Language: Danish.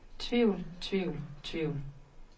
tvivl tvivl tvivl